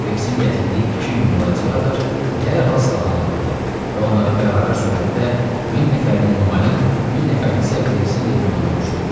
Kriksin gətirdiyi 2000 qladiator dərhal silahlandırıldı və onları bərabər surətdə 1000 nəfərini Enomayın, 1000 nəfərini isə Kriksin legionuna bölüşdürdülər.